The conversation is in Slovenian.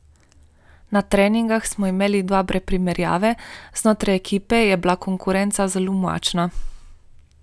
Na treningih smo imeli dobre primerjave, znotraj ekipe je bila konkurenca zelo močna.